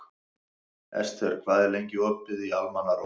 Esther, hvað er lengi opið í Almannaróm?